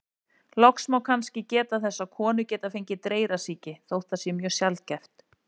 Loks má kannski geta þess að konur geta fengið dreyrasýki, þótt það sé mjög sjaldgæft.